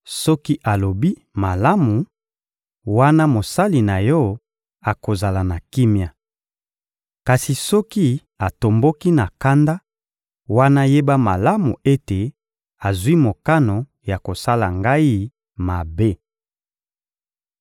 Soki alobi: «Malamu,» wana mosali na yo akozala na kimia. Kasi soki atomboki na kanda, wana yeba malamu ete azwi mokano ya kosala ngai mabe.